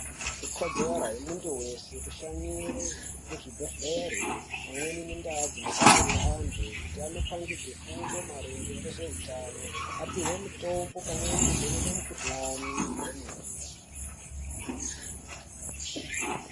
Ikodzero yemunthu weshe kushanyire kuzvibhedhlere pamweni nendaa dzinobatsirwe anthu kuti anopangidzwe fundo maringe ngezveutano apihwe mitombo pamweni kuvhenekwe mikuhlani kwemene.